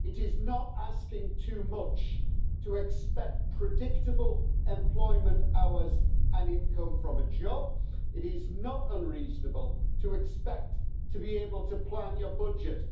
It is not asking too much to expect predictable employment hours and income from a job, it is not unreasonable to expect to be able to plan your budget.